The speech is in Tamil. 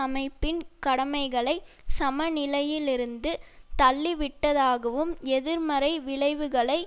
அமைப்பின் கடமைகளை சமநிலையிலிருந்து தள்ளிவிட்டதாகவும் எதிர்மறை விளைவுகளை